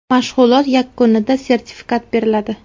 Mashg‘ulot yakunida sertifikat beriladi.